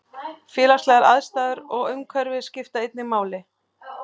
Félagslegar aðstæður og umhverfi skipta einnig máli.